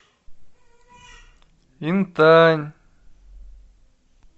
интань